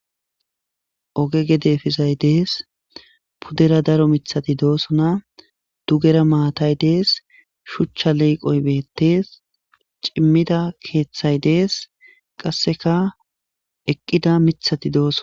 oge gedefizay dees puddera daro mithati doosona dugera maatay dees shuchcha leeqoy beettees cimmida keeththay dees qasseka eqqida mithati dooson